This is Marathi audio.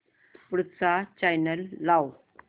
पुढचा चॅनल लाव